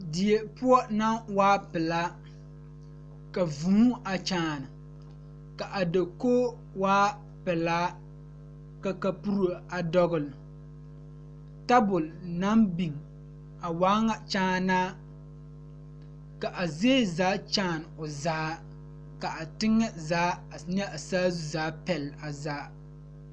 Kuriwiire la ka dɔɔba banuu a zɔŋ a a kuriwiire kaŋa eɛ ziɛ kyɛ taa peɛle kaa kuriwiire mine e sɔglɔ kyɛ ka konkobile fare a kuriwiire poɔ a e doɔre.